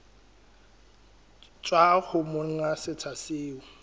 tswa ho monga setsha seo